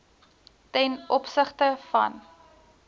ten opsigte van